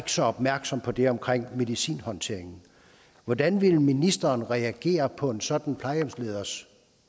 så opmærksom på det omkring medicinhåndteringen hvordan ville ministeren reagere på en sådan plejehjemsleders